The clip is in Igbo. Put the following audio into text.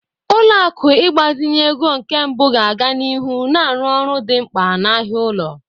Ụlọ akụ ịgbazinye ego nke mbụ ga-aga n'ihu na-arụ ọrụ dị mkpa n'ahịa ụlọ.